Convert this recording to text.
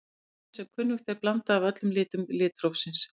Hvítt er sem kunnugt er blanda af öllum litum litrófsins.